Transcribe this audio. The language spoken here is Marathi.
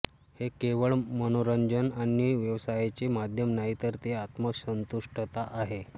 हे केवळ मनोरंजन आणि व्यवसायाचे माध्यम नाही तर ते आत्मसंतुष्टताआहे